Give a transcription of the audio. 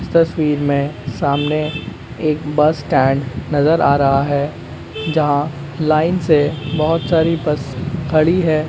इस तस्वीर मे सामने एक बस स्टैन्ड नजर आ रहा है जहां लाइन से बहोत सारी बस खड़ी है।